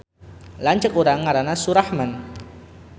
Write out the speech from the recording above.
Lanceuk urang ngaranna Surahman